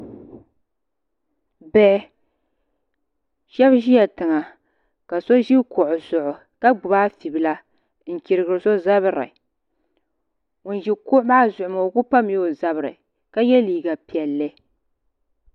Bihi shab ʒila tiŋa ka so ʒi kuɣu zuɣu ka gbubi afi bila n chirigiri so zabiri ŋun ʒi kuɣu maa zuɣu maa o ku pamla o zabiri ka yɛ liiga piɛlli